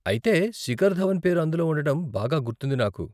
అయితే, శిఖర్ ధవన్ పేరు అందులో ఉండడం బాగా గుర్తుంది నాకు.